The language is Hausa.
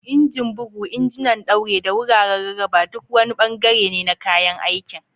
Injin bugu, injunan ɗaure, da wuraren rarraba duk wani ɓangare ne na kayan aikin.